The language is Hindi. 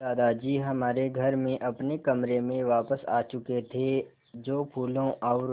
दादाजी हमारे घर में अपने कमरे में वापस आ चुके थे जो फूलों और